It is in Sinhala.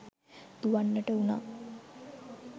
දුවන්නට වුණා.